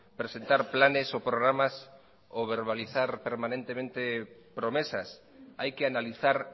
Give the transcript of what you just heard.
presentar planes o programas o verbalizar permanentemente promesas hay que analizar